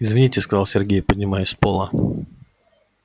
извините сказал сергей поднимаясь с пола